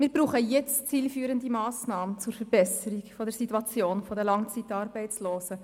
Wir brauchen jetzt zielführende Massnahmen zur Verbesserung der Situation der Langzeitarbeitslosen.